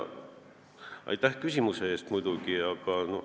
Aitäh küsimuse eest muidugi, aga noh ...